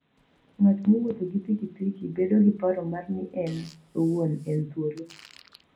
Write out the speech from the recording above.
Ng'at mowuotho gi pikipiki bedo gi paro mar ni en owuon en thuolo.